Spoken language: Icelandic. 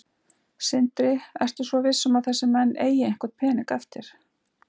Sindri: Ertu svo viss um að þessir menn eiga einhvern pening eftir?